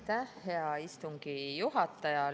Aitäh, hea istungi juhataja!